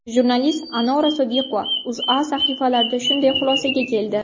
Jurnalist Anora Sodiqova O‘zA sahifalarida shunday xulosaga keldi .